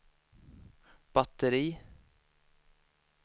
batteri